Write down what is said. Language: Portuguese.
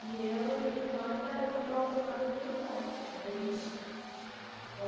E eu e minha irmã, minha minha outra irmã dormia no quarto, na beliche. Com